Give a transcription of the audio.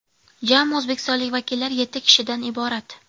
Jami o‘zbekistonlik vakillar yetti kishidan iborat.